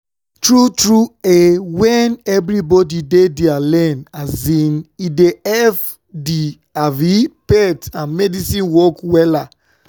tru tru eh wen everybodi dey dia lane um e dey epp di um faith and medicine work wella